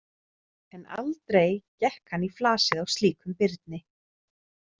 En aldrei gekk hann í flasið á slíkum birni.